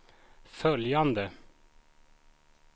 följande